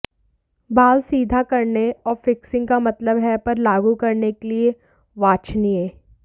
बाल सीधा करने और फिक्सिंग का मतलब है पर लागू करने के लिए वांछनीय